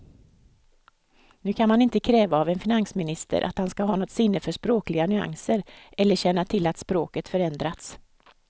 Nu kan man inte kräva av en finansminister att han ska ha något sinne för språkliga nyanser eller känna till att språket förändrats.